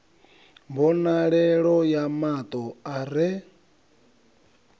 mbonalelo ya mato a re